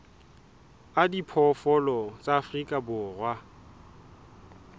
a diphoofolo tsa afrika borwa